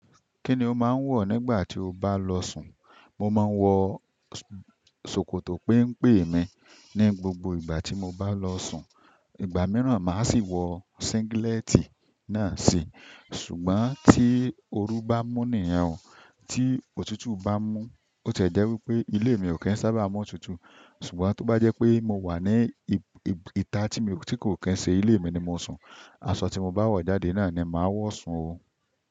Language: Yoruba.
Kíni o máa ń wọ̀ nígbà tí o bá lọ sùn? Mo máa ń wọ ṣòkòtò péńpé mi ní gbogbo ìgbà tí mo bá lọ sùn. Ìgbà mìíràn, màá sì wọ síngílẹ́tì náà si. Ṣùgbọ́n tí oru bá mú niyẹn o, tí òtútù bá mú, bó tiẹ jẹ́ wípé ilé mi ò kí ń sábà mòtútù. Ṣùgbọ́n tó bá jẹ́ pé mo wà ní ìta tí kò kí ń ṣe ilé mi ni mo sùn, aṣọ tí mo bá wọ̀ jáde náà ni màá wọ̀ sùn o.